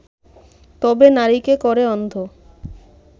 তবে নারীকে করে অন্ধ